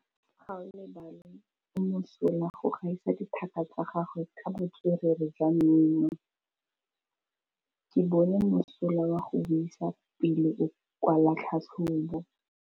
Gaolebalwe o mosola go gaisa dithaka tsa gagwe ka botswerere jwa mmino. Ke bone mosola wa go buisa pele o kwala tlhatlhobô.